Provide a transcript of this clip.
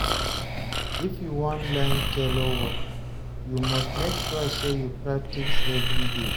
If you wan learn tailor work, you must make sure sey you practice everyday.